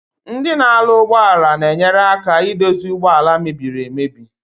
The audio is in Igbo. Ndi na aru ugbo ala na-enyere aka idozi ụgbọ ala mebiri emebi.